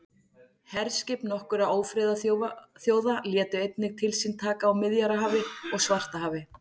herskip nokkurra ófriðarþjóða létu einnig til sín taka á miðjarðarhafi og svartahafi